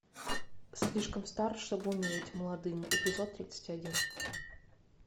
слишком стар чтобы умереть молодым эпизод тридцать один